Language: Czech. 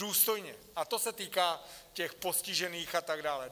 Důstojně, a to se týká těch postižených a tak dále.